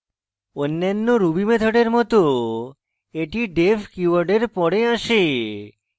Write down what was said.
অন্যান্য ruby মেথডের মত এটি def keyword এর পর আসে